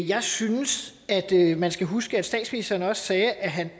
jeg synes at man skal huske at statsministeren også sagde at han